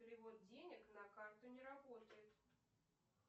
перевод денег на карту не работает